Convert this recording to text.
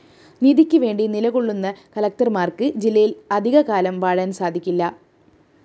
നീതിക്ക് വേണ്ടി നിലകൊള്ളുന്ന കലക്ടര്‍മാര്‍ക്ക് ജില്ലയില്‍ അധികകാലം വാഴാന്‍ സാധിക്കില്ല